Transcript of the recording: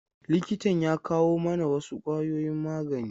Likitan ya kawo mana wasu ƙwayoyin magani.